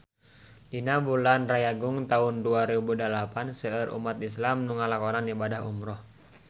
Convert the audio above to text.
Dina bulan Rayagung taun dua rebu dalapan seueur umat islam nu ngalakonan ibadah umrah